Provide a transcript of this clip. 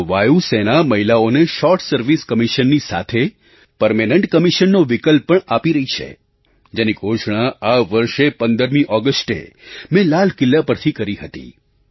હવે તો વાયુ સેના મહિલાઓને શૉર્ટ સર્વિસ કમિશનની સાથે પરમેનન્ટ કમિશનનો વિકલ્પ પણ આપી રહી છે જેની ઘોષણા આ વર્ષે 15 ઑગસ્ટે મેં લાલ કિલ્લા પરથી કરી હતી